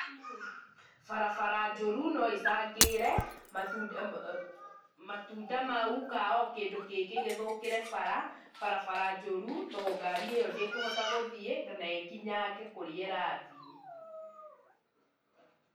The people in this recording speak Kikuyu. Barabara njũru no ĩcangĩre matunda mau kana o kĩndũ kingĩ gĩthũkĩre bara, barabara njũru tondũ ngari ĩyo ndĩkũhota gũthiĩ na ĩkinyange kũrĩa ĩrathiĩ.